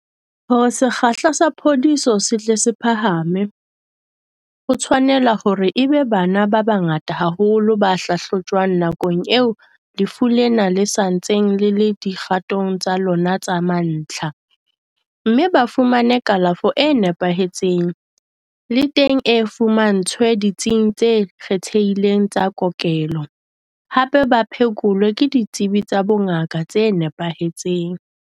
Hore sekgahla sa phodiso se tle se phahame, ho tshwanela hore e be bana ba bangata haholo ba hlahlojwang nakong eo lefu lena le sa ntseng le le dikgatong tsa lona tsa mantlha, mme ba fumane kalafo e nepahetseng, le teng ba e fumantshwe ditsing tse kgethehileng tsa kokelo, hape ba phekolwe ke ditsebi tsa bongaka tse nepahetseng.